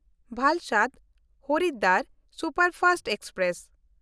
ᱵᱟᱞᱥᱟᱰ-ᱦᱚᱨᱤᱫᱣᱟᱨ superfast express